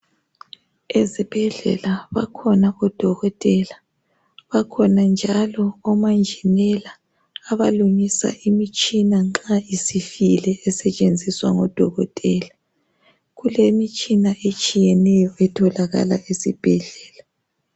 ezibhedlela bakhona odokotela abakhona njalo omanjinela abalungisa imitshina nxa isifile esetshenziswa ngo dokotela kulemitshina etshiyeneyo etholakala esibhedlela